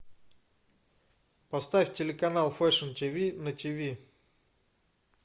поставь телеканал фэшн ти ви на ти ви